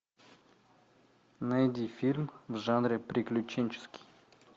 найди фильм в жанре приключенческий